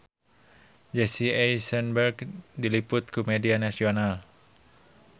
Jesse Eisenberg diliput ku media nasional